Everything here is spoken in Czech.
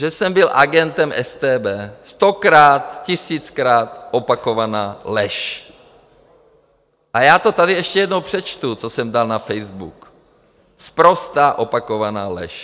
Že jsem byl agentem StB - stokrát, tisíckrát opakovaná lež, a já to tady ještě jednou přečtu, co jsem dal na Facebook: Sprostá opakovaná lež.